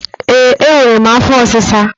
Ee, enwere m afọ ọsisa